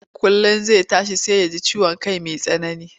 Kullum zai tashi sai ya ji ciwon kai mai tsanani,